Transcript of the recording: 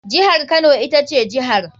Jihar kano ita ce jihar.